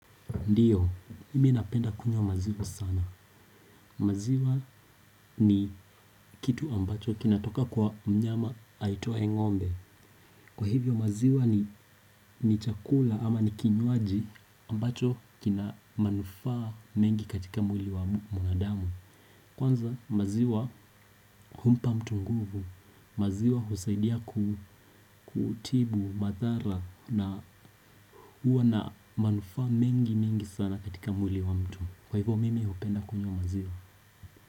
Ndio mimi napenda kunywa maziwa sana. Maziwa ni kitu ambacho kinatoka kwa mnyama aitwae ngombe. Kwa hivyo maziwa ni chakula ama ni kinywaji ambacho kina manufaa mengi katika mwili wa mwanadamu. Kwanza maziwa humpa mtu nguvu. Maziwa husaidia kutibu madhara na huwa na manufaa mengi mengi sana katika mwili wa mtu. Kwa hivo mimi hupenda kunywa maziwa.